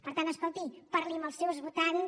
per tant escolti parli amb els seus votants